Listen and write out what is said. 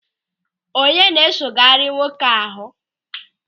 Onye na-esogharị nwoke ahụ?